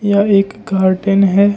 यह एक गार्डन है।